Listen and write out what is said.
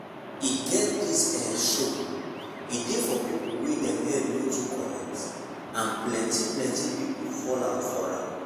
e get this ehh show. e dey for people wey dem head no too correct and plenty plenty people fall out for am